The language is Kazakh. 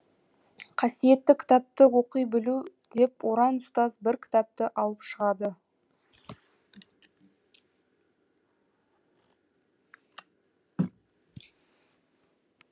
касиетті кітапты оқи білу деп оран ұстаз бір кітапты алып шығады